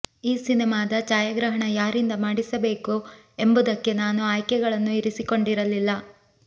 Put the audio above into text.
ಈ ಸಿನೆಮಾದ ಛಾಯಾಗ್ರಹಣ ಯಾರಿಂದ ಮಾಡಿಸಬೇಕು ಎಂಬುದಕ್ಕೆ ನಾನು ಆಯ್ಕೆಗಳನ್ನು ಇರಿಸಿಕೊಂಡಿರಲಿಲ್ಲ